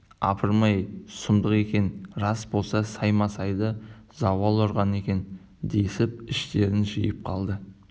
апырмай-ай сұмдық екен рас болса саймасайды зауал ұрған екен десіп іштерін жиып қалды